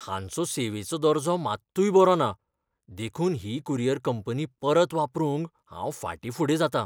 हांचो सेवेचो दर्जो मात्तूय बरो ना, देखून ही कुरियर कंपनी परत वापरूंक हांव फाटींफुडें जातां .